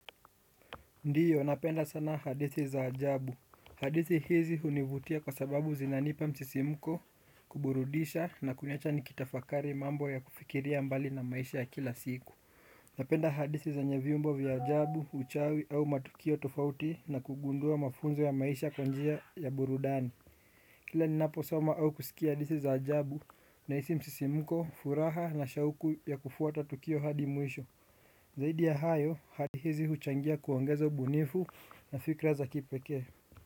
Ndiyo napenda sana hadithi za ajabu. Hadithi hizi hunivutia kwa sababu zinanipa msisimuko, kuburudisha na kuniacha nikitafakari mambo ya kufikiria mbali na maisha ya kila siku. Napenda hadithi zenye viumbe vya ajabu, uchawi au matukio tofauti na kugundua mafunzo ya maisha kwa njia ya burudani. Kila ninapo soma au kusikia hadithi za ajabu, nahisi msisimuko furaha na shauku ya kufuata tukio hadi mwisho. Zaidi ya hayo hali hizi huchangia kuongeza ubunifu na fikra za kipekee.